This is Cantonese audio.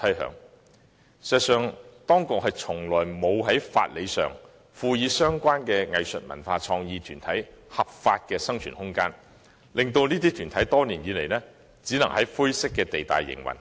事實上，當局從來沒有立法賦予相關藝術文化創意團體合法的生存空間，令這些團體多年來只可以在灰色地帶營運。